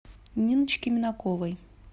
ниночке минаковой